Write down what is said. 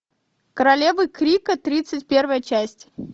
королевы крика тридцать первая часть